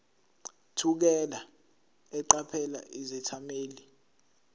thukela eqaphela izethameli